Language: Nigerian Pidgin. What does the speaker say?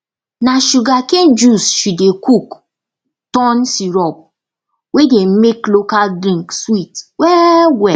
na sugarcane juice she dey cook turn syrup wey dey make local drink sweet wellwell